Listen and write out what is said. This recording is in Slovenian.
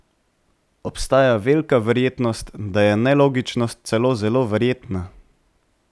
Obstaja velika verjetnost, da je nelogičnost celo zelo verjetna.